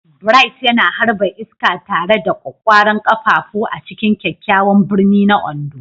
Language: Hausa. Bright yana harba iska tare da ƙwaƙƙwaran ƙafafu a cikin kyakkyawan birni na Ondo.